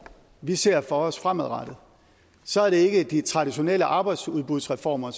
vi ser for os fremadrettet så er det ikke de traditionelle arbejdsudbudsreformer